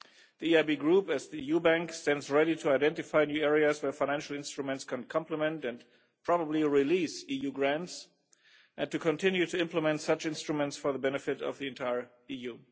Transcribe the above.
The EIB group, as the EU's Bank, stands ready to identify the areas where financial instruments can complement and probably release EU grants and to continue to implement such instruments for the benefit of the entire EU.